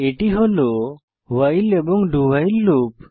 এটি হল ভাইল এবং do ভাইল লুপ